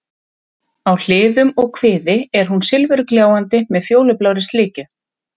Á hliðum og kviði er hún silfurgljáandi með fjólublárri slikju.